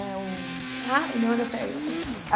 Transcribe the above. É o... A União Europeia.